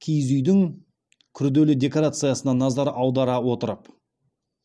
киіз үйдің күрделі декорациясына назар аудара отырып